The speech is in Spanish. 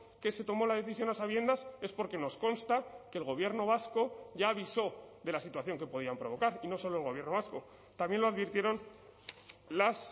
que se tomó la decisión a sabiendas es porque nos consta que el gobierno vasco ya avisó de la situación que podían provocar y no solo el gobierno vasco también lo advirtieron las